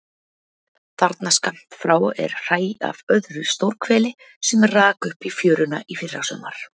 Þarna skammt frá er hræ af öðru stórhveli sem rak upp í fjöruna í fyrrasumar.